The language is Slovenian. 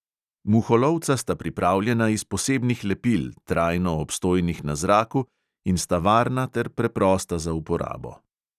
Muholovca sta pripravljena iz posebnih lepil, trajno obstojnih na zraku, in sta varna ter preprosta za uporabo.